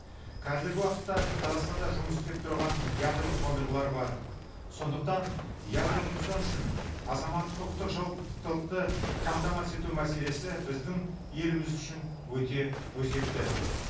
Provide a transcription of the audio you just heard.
қазіргі уақытта қазақстанда жұмыс істеп тұрған ядролық қондырғылар бар сондықтан ядролық нұқсан үшін азаматтық құқықтық жауаптылықты қамтамасыз ету мәселесі біздің еліміз үшін өте өзекті